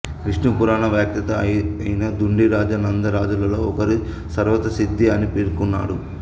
విష్ణు పురాణ వ్యాఖ్యాత అయిన దుండిరాజా నంద రాజులలో ఒకరిని సర్వతసిద్ధి అని పేర్కొన్నాడు